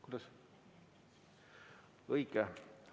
Kuidas?